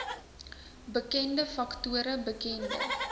bekende faktore bekende